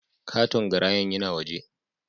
Katon garayan yina waje